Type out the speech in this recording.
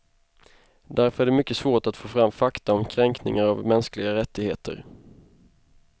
Därför är det mycket svårt att få fram fakta om kränkningar av mänskliga rättigheter.